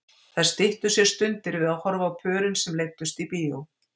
Þær styttu sér stundir við að horfa á pörin sem leiddust í bíó.